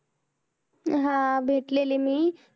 हा भेटलेले मी